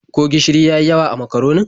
Ko gishiri ya yi yawa a makaronin?